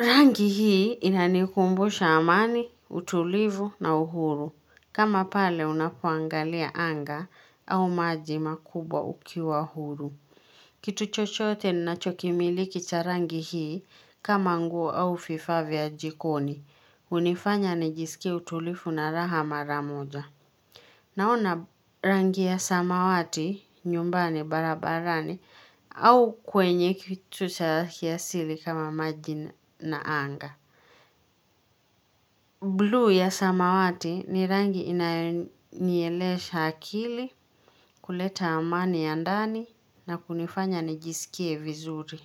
Rangi hii inanikumbusha amani, utulivu na uhuru. Kama pale unapoangalia anga au maji makubwa ukiwa huru. Kitu chochote nachokimiliki cha rangi hii kama nguo au vifaa vya jikoni. Hunifanya nijiskie utulivu na raha maramoja. Naona rangi ya samawati nyumbani barabarani au kwenye kitu cha kiasili kama maji na anga. Blue ya samawati ni rangi inayonielesha akili kuleta amani ya ndani na kunifanya nijisikie vizuri.